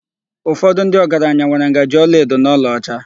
Ụfọdụ ndị ọgaranya nwere ngaji olaedo na olaọcha.